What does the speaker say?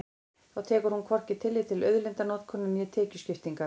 Þá tekur hún hvorki tillit til auðlindanotkunar né tekjuskiptingar.